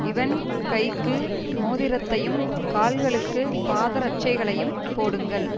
இவன் கைக்கு மோதிரத்தையும் கால்களுக்குப் பாதரட்சைகளையும் போடுங்கள்